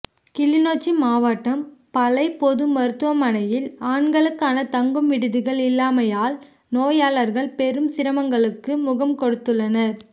கிளிநொச்சி மாவட்டம் பளை பொது மருத்துவமனையில் ஆண்களுக்கான தங்கும் விடுதிகள் இல்லாமையால் நோயாளர்கள் பெரும் சிரமங்களுக்கு முகம் கொடுத்துள்ளனர்